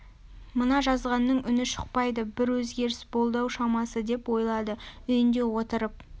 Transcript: мына жазғанның үні шықпайды бір өзгеріс болды-ау шамасы деп ойлады үйінде отырып